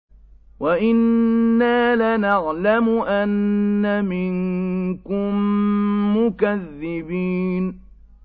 وَإِنَّا لَنَعْلَمُ أَنَّ مِنكُم مُّكَذِّبِينَ